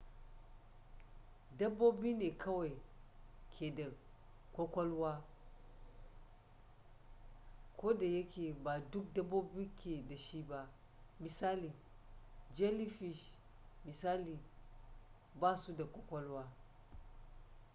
dabbobi ne kawai ke da kwakwalwa kodayake ba duk dabbobi ke da shi ba; misali jellyfish misali ba su da kwakwalwa